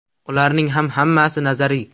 Ularning ham hammasi nazariy.